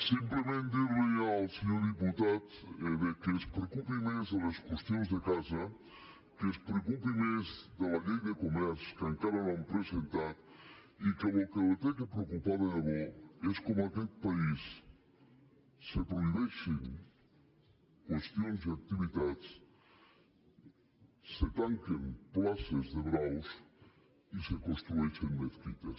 simplement dir li al senyor diputat que es preocupi més de les qüestions de casa que es preo cupi més de la llei de comerç que encara no han presentat i que el que l’ha de preocupar de debò és com en aquest país se prohibeixen qüestions i activitats se tanquen places de braus i se construeixen mesquites